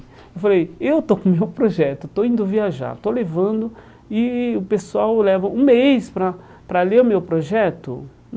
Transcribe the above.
Eu falei, eu estou com o meu projeto, estou indo viajar, estou levando, e e o pessoal leva um mês para para ler o meu projeto?